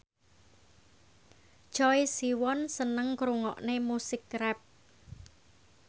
Choi Siwon seneng ngrungokne musik rap